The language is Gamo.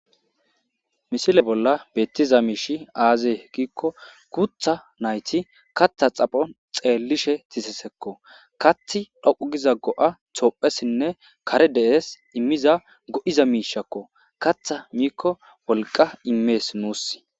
misile bolla beettiza miishi aazee giikko gutha nayti katha xapho xeellishe dizesekko kath dhoqu giza go7a toophessinne kare de7es immiza go7iza miishakko katha miikko wolqa immees nuus